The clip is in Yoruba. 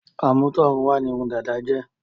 Àmútọ̀run wá ní irun dada jẹ́ nígbàkan.